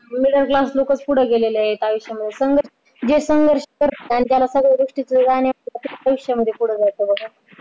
middleclass लोकंच पुढे गेलेले आयुष्यामध्ये